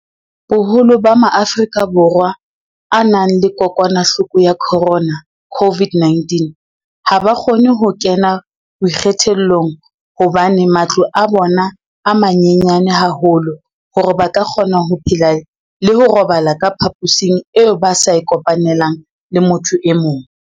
Boholo ba Maafrika Borwa a nang le kokwanahloko ya corona, COVID-19, ha ba kgone ho kena boikgethollong hobane matlo a bona a manyenyana haholo hore ba ka kgona ho phela le ho robala ka phaposing eo ba sa e kopanelang le motho e mong.